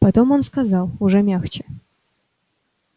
потом он сказал уже мягче